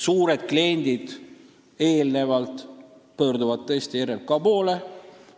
Suured kliendid tõesti pöörduvad eelnevalt RMK poole.